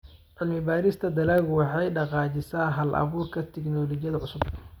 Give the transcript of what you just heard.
Cilmi-baarista dalaggu waxay dhaqaajisaa hal-abuurka tignoolajiyada cusub.